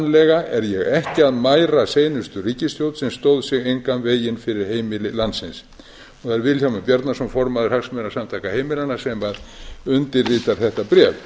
lega er ég ekki að mæra seinustu ríkisstjórn sem stóð sig engan veginn fyrir heimili landsins það er vilhjálmur bjarnason formaður hagsmunasamtaka heimilanna sem undirritar þetta bréf